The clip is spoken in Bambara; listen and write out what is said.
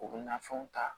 U bɛ nafɛnw ta